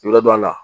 I bɛ dɔ la